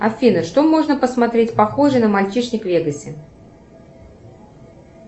афина что можно посмотреть похожее на мальчишник в вегасе